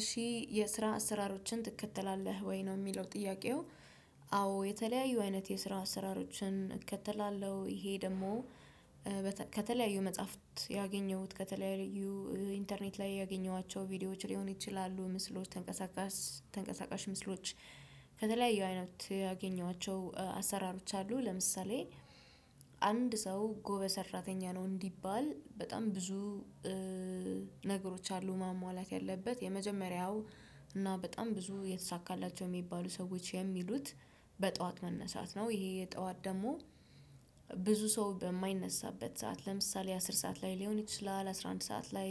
እሺ የስራ አሰራሮችን ትከተላለህ ወይ ነው ሚለው ጥያቄው? አዎ የተለያዩ አይነት የስራ አስራሮችን እከተላለሁ እሄ ደሞ። ከተለያዩ መጽሐፍት ያገኘሁት ከተለያዩ ኢንተርኔት ላይ ያገኘኋቸው ቪዲዮዎች ሊሆኑ ይችላሉ ምስሎች ተንቀሳቃስ ተንቀሳቃሽ ምስሎች። ከተለያዩ አይነት ያገኘኋቸው አሰራሮች አሉ። ለምሳሌ አንድ ሰው ጎበዝ ሰራተኛ ነው። እንዲባል በጣም ብዙ ነገሮች አሉ ማሟላት ያለበት የመጀመሪያው እና በጣም ብዙ የተሳካላቸው ሚባሉ ሰዎች የሚሉት በጥዋት መነሳት ነው። ይሄ ጠዋት ደሞ ብዙ ሰው በማይነሳበት ሰዓት ለምሳሌ አስር ሰዓት ላይ ሊሆን ይችላል አስራ አንድ ሰዓት ላይ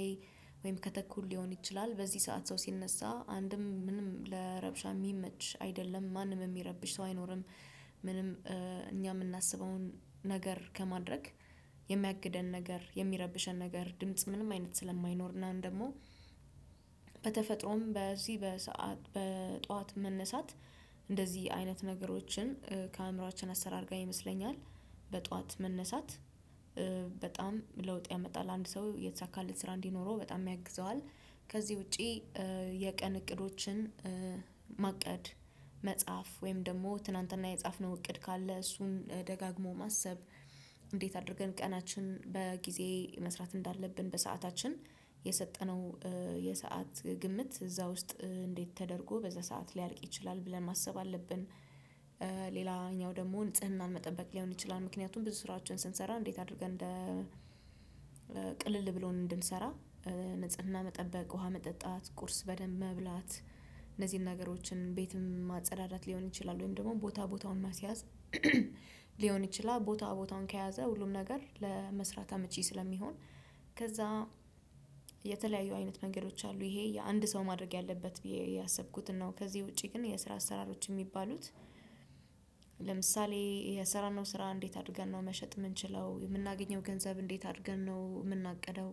ወይም ከተኩል ሊሆን ይችላል በዚህ ሰዓት ሰው ሲነሳ አንድም ምንም ለረብሻ ሚመች አይደለም ማንም እሚረብሽ ሰው አይኖርም። ምንም እኛ ምናስበውን ነገር ከማድረግ የሚያግደን ነገር የሚያረብሸን ነገር ድምጽ ምንም አይነት ስለማይኖር እና ደሞ። በተፈጥሮም በዚህ በሰአት በጧት መነሳት እንደዚህ አይነት ነገሮችን ከአእምሮአችን አሰራር ጋር ይመስለኛል። በጧት መነሳት በጣም ለውጥ ያመጣል አንድ ሰው የተሳካለት ስራ እንዲኖረው በጣም ያግዘዋል። ከዚህ ውጪ የቀን እቅዶችን ማቀድ መጽሐፍ ወይም ደሞ ትናንት የጻፍነው እቅድ ካለ እሱን ደጋግሞ ማሰብ እንዴት አድርገን ቀናችን በጊዜ መስራት እንዳለብን በሰአታችን የሰጠነው የሰዓት ግምት እዛ ውስጥ እንዴት ተደርጎ በዛ ሰዓት ሊያልቅ ይችላል ብለን ማሰብ አለብን። ሌላኛው ደሞ ንጽህናን መጠበቅ ሊሆን ይችላል። ምክንያቱም ብዙ ስራቸውን ስንሰራ እንዴት አድርገን እንደ ቅልል ብሎን እንድንሰራ ንጽህና መጠበቅ ውሃ መጠጣት ቁርስ በደንብ መብላት እነዚህን ነገሮችን ቤትም ማጸዳዳት ሊሆን ይችላል። ወይም ደሞ ቦታ ቦታውን ማስያዝ ሊሆን ይችላል። ቦታ ቦታውን ከያዘ ሁሉም ነገር ለመስራት አመቺ ስለሚሆን ከዛ የተለያዩ አይነት መንገዶች አሉ እሄ የአንድ ሰው ማድረግ ያለበት ብዬ ያሰብኩትን ነው። ከዚህ ውጪ ግን የስራ አሰራሮች ሚባሉት። ለምሳሌ የስራነው ስራ እንዴት አድርገን ነው መሸጥ ምንችለው የምናገኘው ገንዘብ እንዴት አድርገን ነው ምናቅደው?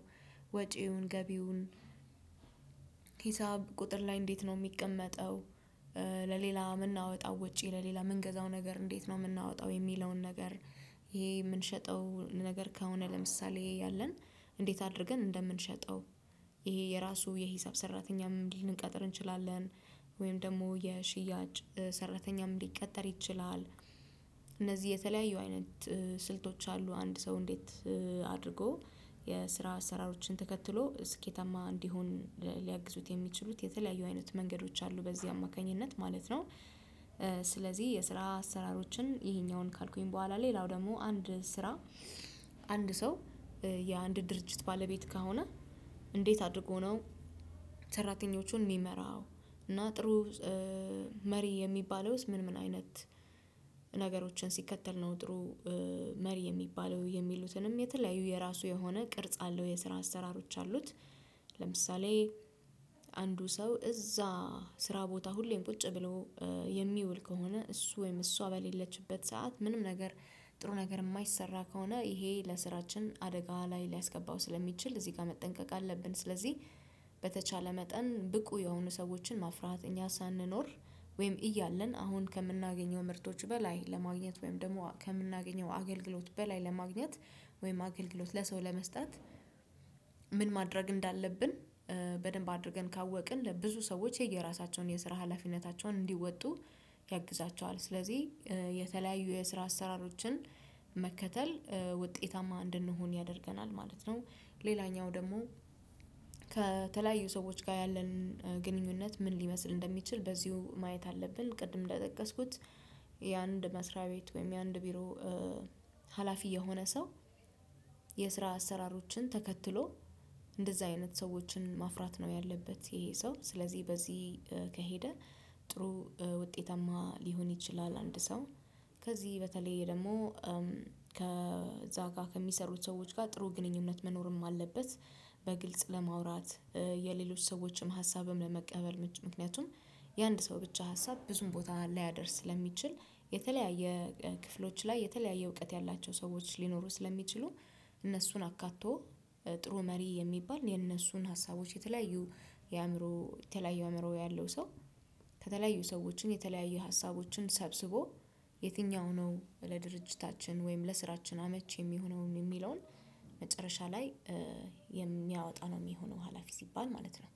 ወጪውን ገቢውን ሂሳብ ቁጥር ላይ እንዴት ነው ሚቀመጠው? ለሌላ ምናወጣው ወጪ ለሌላ ምንገዛው ነገር እንዴት ነው ምናወጣው የሚለውን ነገር? ይሄ የምንሸጠው ነገር ከሆነ ለምሳሌ ያለን እንዴት አድርገን እንደምንሸጠው እሄ የራሱ የሂሳብ ሰራተኛም ልንቀጥር እንችላለን። ወይም ደሞ የሽያጭ ሰራተኛም ሊቀጠር ይችላል። እነዚህ የተለያዩ አይነት ስልቶች አሉ አንድ ሰው እንዴት አድርጎ የስራ አሰራሮችን ተከትሎ ስኬታማ እንዲሆን ሊያግዙት የሚችሉት የተለያዩ አይነት መንገዶች አሉ በዚህ አማካኝነት ማለት ነው። ስለዚህ የስራ አሰራሮችን እሄኛውን ካልኩኝ በኋላ ሌላው ደሞ አንድ ስራ አንድ ሰው የአንድ ድርጅት ባለቤት ከሆነ እንዴት አድርጎ ነው? ሰራተኞቹን ሚመራው? እና ጥሩ መሪ የሚባለውስ ምን ምን አይነት ነገሮችን ሲከተል ነው ጥሩ መሪ የሚባለው የሚሉትንም የተለያዩ የራሱ የሆነ ቅርጽ አለው የስራ አሰራሮች አሉት። ለምሳሌ አንዱ ሰው እዛ ስራ ቦታ ሁሌም ቁጭ ብሎ የሚውል ከሆነ እሱ ወይም እሷ በሌለችበት ሰዓት ምንም ነገር ጥሩ ነገር እማይሰራ ከሆነ እሄ ለስራችን አደጋ ላይ ሊያስገባው ስለሚችል እዚህ ጋ መጠንቀቅ አለብን። ስለዚህ በተቻለ መጠን ብቁ የሆኑ ሰዎችን ማፍራት እኛ ሳንኖር ወይም እያለን አሁን ከምናገኘው ምርቶች በላይ ለማግኘት ወይም ደሞ ከምናገኘው አገልግሎት በላይ ለማግኘት። ወይም አገልግሎት ለሰው ለመስጠት። ምን ማድረግ እንዳለብን። በደንብ አድርገን ካወቅን ለብዙ ሰዎች የየራሳቸውን የስራ ሀላፊነታቸውን እንዲወጡ ያግዛቸዋል። ስለዚህ የተለያዩ የስራ አሰራሮችን መከተል ውጤታማ እንድንሆን ያደርገናል ማለት ነው። ሌላኛው ደሞ ከተለያዩ ሰዎች ጋ ያለንን ግንኙነት ምን ሊመስል እንደሚችል በዚሁ ማየት አለብን። ቅድም እንደጠቀስኩት የአንድ መስሪያ ቤት ወይም የአንድ ቢሮ ሀላፊ የሆነ ሰው የስራ አሰራሮችን ተከትሎ እንደዛ አይነት ሰዎችን ማፍራት ነው። ያለበት እሄ ሰው ስለዚህ በዚህ ከሄደ ጥሩ ውጤታማ ሊሆን ይችላል። አንድ ሰው ከዚህ በተለይ ደሞ ከዛ ጋ ከሚሰሩት ሰዎች ጋ ጥሩ ግንኙነት መኖርም አለበት። በግልጽ ለማውራት የሌሎች ሰዎችም ሀሳብም ለመቀበል ምክንያቱም የአንድ ሰው ብቻ ሀሳብ ብዙም ቦታ ላያደርስ ስለሚችል። የተለያየ ክፍሎች ላይ የተለያየ እውቀት ያላቸው ሰዎች ሊኖሩ ስለሚችሉ። እነሱን አካቶ ጥሩ መሪ የሚባል የነሱን ሀሳቦች የተለያዩ የአእምሮ የተለያዩ አእምሮ ያለው ሰው። ከተለያዩ ሰዎችን የተለያዩ ሀሳቦችን ሰብስቦ የትኛው ነው? ለድርጅታችን ወይም ለስራችን አመቺ የሚሆነውን የሚለውን መጨረሻ ላይ የሚያወጣ ነው ሚሆነው ሀላፊ ሲባል ማለት ነው።